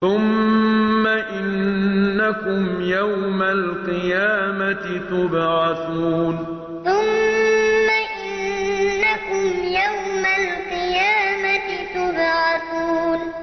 ثُمَّ إِنَّكُمْ يَوْمَ الْقِيَامَةِ تُبْعَثُونَ ثُمَّ إِنَّكُمْ يَوْمَ الْقِيَامَةِ تُبْعَثُونَ